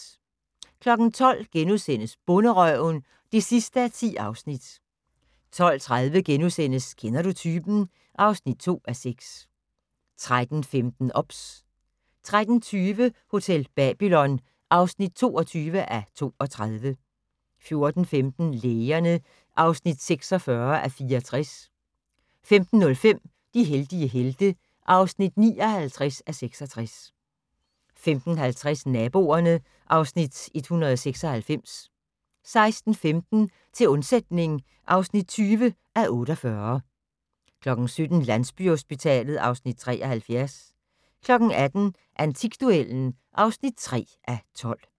12:00: Bonderøven (10:10)* 12:30: Kender du typen? (2:6)* 13:15: OBS 13:20: Hotel Babylon (22:32) 14:15: Lægerne (46:64) 15:05: De heldige helte (59:66) 15:50: Naboerne (Afs. 196) 16:15: Til undsætning (20:48) 17:00: Landsbyhospitalet (Afs. 73) 18:00: Antikduellen (3:12)